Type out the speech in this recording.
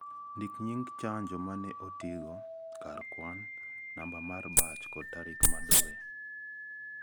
Ndik nying' chanjo ma ne otigo, kar kwan, namba mar batch kod tarik ma dowe